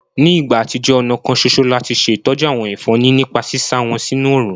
Ní ìgbà àtijọ́, ọ̀nà kan soso láti ṣe ìtọ́jú àwọn ẹ̀fọ́ ni nípa sísá wọn sínú òrùn